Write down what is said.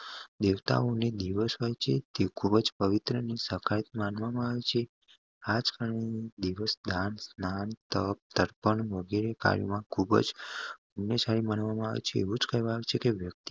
દેવતાઓ ની દિવસ માં થી ખુબજ પવિત્ર માનવામાં આવે છે આજ ખુબજ માનવામાં આવે છે એવુંજ કહેવાયું છે કે વ્યક્તિ